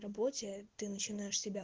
рабочая ты начинаешь себя